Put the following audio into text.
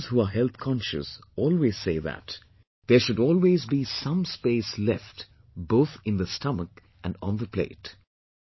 And those who are health conscious always say that, there should always be some space left both in the stomach and on the plate